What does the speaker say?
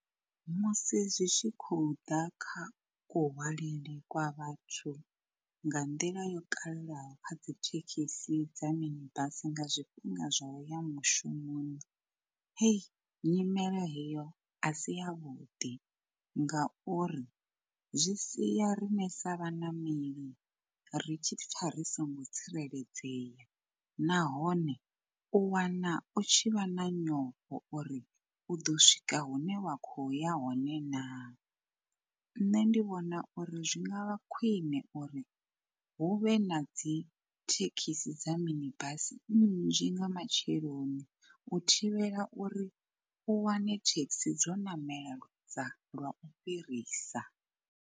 Musi zwi tshi khou ḓa kha kuhwalele kwa vhathu nga nḓila yo kalulaho kha dzi thekhisi dza mini basi nga zwifhinga zwa uya mushumoni, hei nyimele heyo a si yavhuḓi ngauri zwi sia riṋe sa vhaṋameli ri tshipfa ri songo tsireledzea. Nahone u wana u tshi vha na nyofho uri u ḓo swika hune wa kho ya hone naa. Nṋe ndi vhona uri zwi ngavha khwine uri hu vhe na dzi thekhisi dza mini basi nnzhi nga matsheloni u thivhela uri u wane thekhisi dzo ṋamela dza lwau fhirisa.